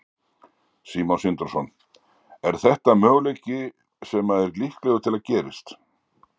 Sindri Sindrason: Er þetta möguleiki sem að er líklegur að gerist?